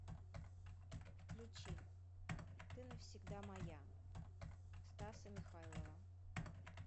включи ты навсегда моя стаса михайлова